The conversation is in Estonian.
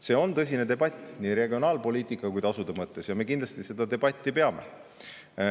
See on tõsine debatt nii regionaalpoliitika kui ka tasude mõttes ja me kindlasti seda debatti peame.